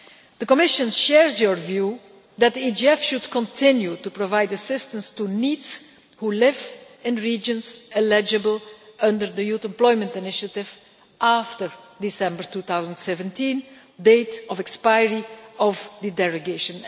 The Commission shares your view that the EGF should continue to provide assistance to NEETs who live in regions eligible under the Youth Employment Initiative after December 2017, the date of expiry of the derogation.